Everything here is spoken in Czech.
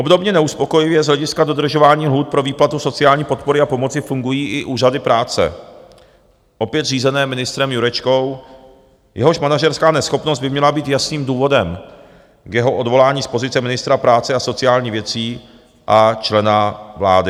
Obdobně neuspokojivě z hlediska dodržování lhůt pro výplatu sociální podpory a pomoci fungují i úřady práce, opět řízené ministrem Jurečkou, jehož manažerská neschopnost by měla být jasným důvodem k jeho odvolání z pozice ministra práce a sociálních věcí a člena vlády.